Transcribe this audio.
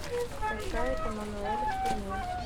скачай эммануэль в тюрьме